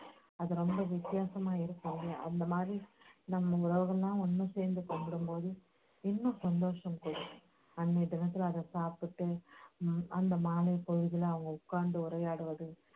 அது ரொம்ப வித்தியாசமா இருக்கும் அந்த மாதிரி நம்ம உழவர்களெல்லாம் ஒண்ணு சேர்ந்து கும்பிடும்போது இன்னும் சந்தோஷம் கூடும் அன்னைய தினத்துல அதை சாப்பிட்டு உம் அந்த மாலைப்பொழுதுல அவங்க உக்காந்து உரையாடுவது